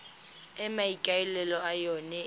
e maikaelelo a yona e